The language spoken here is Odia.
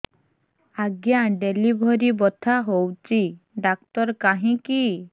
ଆଜ୍ଞା ଡେଲିଭରି ବଥା ହଉଚି ଡାକ୍ତର କାହିଁ କି